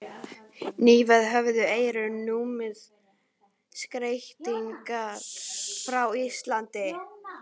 Nýverið höfðu Eyrun numið skeytasendingar frá Íslandi.